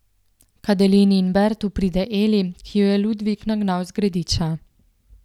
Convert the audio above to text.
K Adelini in Bertu pride Eli, ki jo je Ludvik nagnal z Grediča.